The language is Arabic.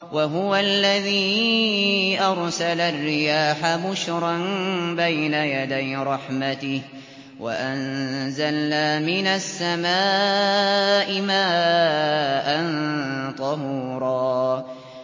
وَهُوَ الَّذِي أَرْسَلَ الرِّيَاحَ بُشْرًا بَيْنَ يَدَيْ رَحْمَتِهِ ۚ وَأَنزَلْنَا مِنَ السَّمَاءِ مَاءً طَهُورًا